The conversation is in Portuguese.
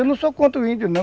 Eu não sou contra o índio, não.